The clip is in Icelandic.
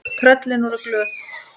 Tröllin voru glöð.